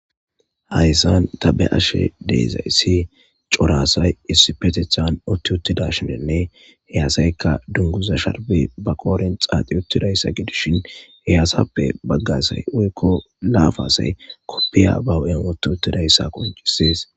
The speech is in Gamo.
Hayssan tabe ashe deezayssi corasay issi petethan utti uttida shinenne heyasayka dunguza sharbi ba kooren xaaxi uttidayssa gidishin heyaasappe baggasay uykko laafasay koppiya bawu'en otti uttidayssa qoncisees.